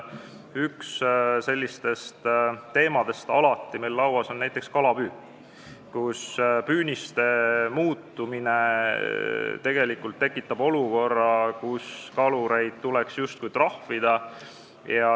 Üks sellistest teemadest on meil alati kalapüük, sest püüniste muutumine tekitab olukorra, kus kalureid tuleks justkui trahvida.